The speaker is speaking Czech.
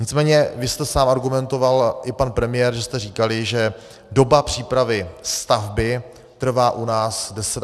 Nicméně vy jste sám argumentoval, i pan premiér, že jste říkali, že doba přípravy stavby trvá u nás 10 až 12 let.